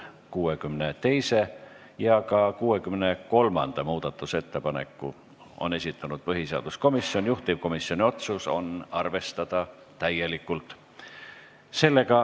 62. ja ka 63. muudatusettepaneku on esitanud põhiseaduskomisjon, juhtivkomisjoni otsus on arvestada täielikult.